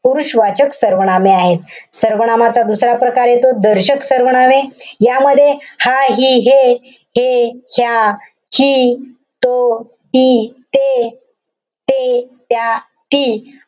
पुरुष वाचक सर्वनामे आहे. सर्वनामाचा दुसरा प्रकार येतो दर्शक सर्वनामे. यामध्ये हा, हि, हे, हे, ह्या, हि, तो, ती, ते, ते, त्या, ती,